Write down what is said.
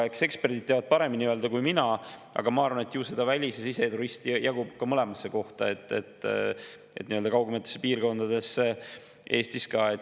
Eks eksperdid teavad paremini öelda kui mina, aga ma arvan, et välis‑ ja siseturiste jagub mõlemasse kohta, ka kaugematesse piirkondadesse Eestis.